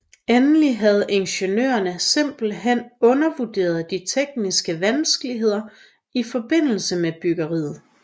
Endelig havde ingeniørerne simpelthen undervurderet de tekniske vanskeligheder i forbindelse med byggeriet